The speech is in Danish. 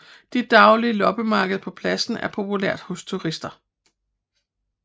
Det daglige loppemarked på pladsen er populært hos turister